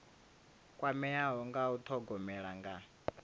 kwameaho nga u thogomela nga